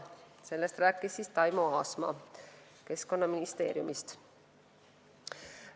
Sellest rääkis Taimo Aasma Keskkonnaministeeriumist.